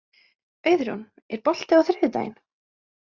Auðrún, er bolti á þriðjudaginn?